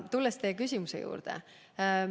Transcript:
Tulen tagasi teie küsimuse juurde.